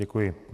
Děkuji.